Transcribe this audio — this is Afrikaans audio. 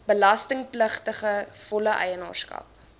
belastingpligtige volle eienaarskap